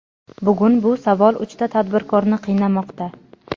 Bugun bu savol uchta tadbirkorni qiynamoqda.